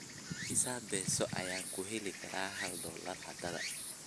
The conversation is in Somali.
Imisa peso ayaan ku heli karaa hal dollar hadda?